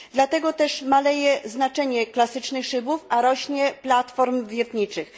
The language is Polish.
Dlatego też maleje znaczenie klasycznych szybów, a rośnie platform wiertniczych.